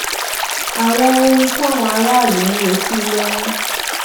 àwọn ohun táwọn aráàlú ń retí ló ń